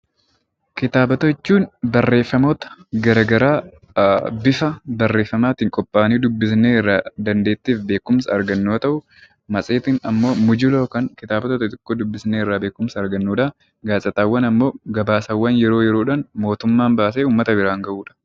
Kitaabota jechuun barreeffamoota garaagaraa bifa barreeffamaatiin qophaa'anii dubbisnee irraa dandeettii fi beekumsa argannu. Matseetiin immoo kitaabota xixxiqqoo dubbisnee beekumsa argannu. Gaazexaawwan immoo yeroo yeroodhaan mootummaan baasee uummata biraan gahudha.